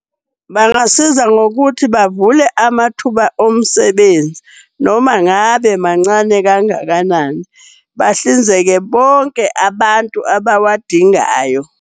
Bangasiza ngokuthi bavule amathuba omsebenzi noma ngabe mancane kangakanani. Bahlinzeke bonke abantu abawadingayo.